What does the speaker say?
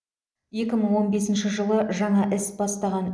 екі мың он бесінші жылы жаңа іс бастаған